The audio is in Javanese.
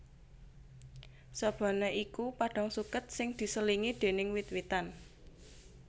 Sabana iku padhang suket sing diselingi déning wit witan